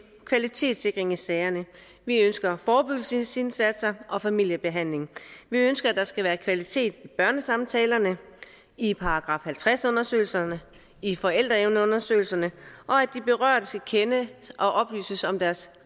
kvalitetssikring i sagerne vi ønsker forebyggelsesindsatser og familiebehandling vi ønsker at der skal være kvalitet i børnesamtalerne i § halvtreds undersøgelserne i forældreevneundersøgelserne og at de berørte skal kende og oplyses om deres